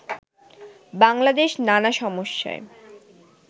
বাংলাদেশ নানা সমস্যায়